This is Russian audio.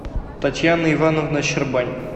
татьяна ивановна щербань